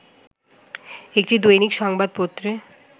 একটি দৈনিক সংবাদ পত্রে